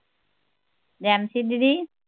Nancy ਦੀਦੀ